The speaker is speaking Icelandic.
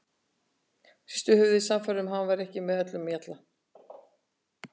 Hristi höfuðið, sannfærð um að hann væri ekki með öllum mjalla.